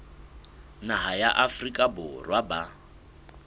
naha ya afrika borwa ba